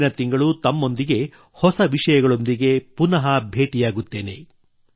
ಮುಂದಿನ ತಿಂಗಳು ತಮ್ಮೊಂದಿಗೆ ಹೊಸ ವಿಷಯಗಳೊಂದಿಗೆ ಪುನಃ ಭೇಟಿ ಆಗುತ್ತೇನೆ